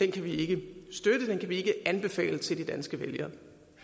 kan vi ikke støtte den vi kan ikke anbefale den til de danske vælgere